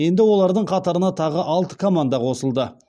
енді олардың қатарына тағы алты команда қосылды